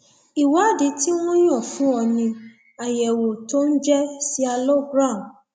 ìwádìí tí wọn yàn fún ọ ni àyẹwò tó ń jẹ sialogram